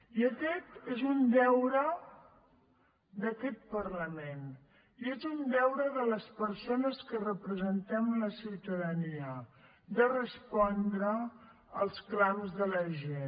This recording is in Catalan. i aquest és un deure d’aquest parlament i és un deure de les persones que representem la ciutadania de respondre els clams de la gent